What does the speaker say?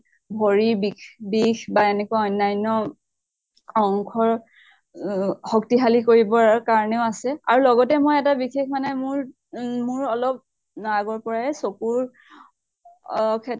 ভৰি বিষ বিষ বা এনেকুৱা অন্য়ান্য় অংশৰ অহ শক্তিশালি কৰিবৰ কাৰণেও আছে। আৰু লগতে মই এটা বিশেষ মানে মোৰ উম মোৰ অলপ আগৰ পৰাই চকুৰ অহ